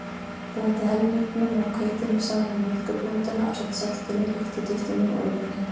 Blandið helmingnum af hveitinu saman við mjólkurblönduna ásamt saltinu, lyftiduftinu og olíunni.